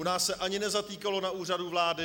U nás se ani nezatýkalo na Úřadu vlády.